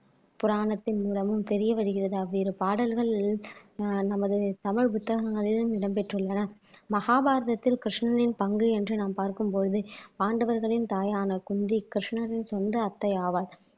புராணத்தின் மூலமும் தெரிய வருகிறது அவ்விரு பாடல்கள் ஆஹ் நமது தமிழ் புத்தகங்களிலும் இடம் பெற்றுள்ளன மகாபாரதத்தில் கிருஷ்ணனின் பங்கு என்று நாம் பார்க்கும் பொழுது பாண்டவர்களின் தாயான குந்தி கிருஷ்ணரின் சொந்த அத்தை ஆவார்